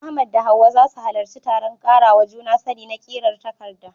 Ahmad da Hawwa za su halarci taron karawa juna sani na ƙirar takarda